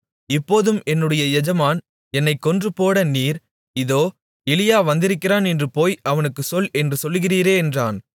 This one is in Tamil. இப்போதும் என்னுடைய எஜமான் என்னைக் கொன்றுபோட நீர் இதோ எலியா வந்திருக்கிறான் என்று போய் அவனுக்குச் சொல் என்று சொல்லுகிறீரே என்றான்